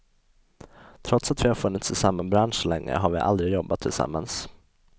Trots att vi har funnits i samma bransch så länge har vi aldrig jobbat tillsammans.